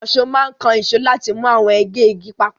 Ìkànṣó máa ń kan ìṣó láti mú àwọn ègé igi papọ̀.